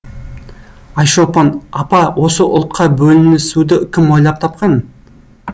айшолпан апа осы ұлтқа бөлінісуді кім ойлап тапқан